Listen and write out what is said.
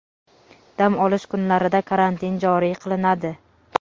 dam olish kunlarida karantin joriy qilinadi.